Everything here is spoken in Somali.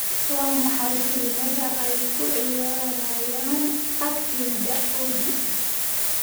waa maxay filimada ay ku ciyaarayaan agtayda olly